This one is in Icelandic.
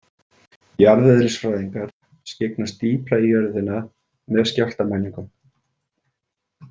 Jarðeðlisfræðingar skyggnast dýpra í jörðina með skjálftamælingum.